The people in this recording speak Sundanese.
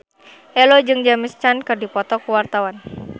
Ello jeung James Caan keur dipoto ku wartawan